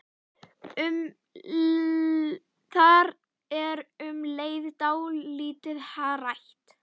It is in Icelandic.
Það er um leið dálítið hrætt.